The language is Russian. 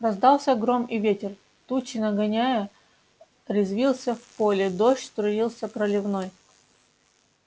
раздался гром и ветер тучи нагоняя резвился в поле дождь струился проливной